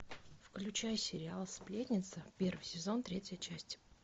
включай сериал сплетница первый сезон третья часть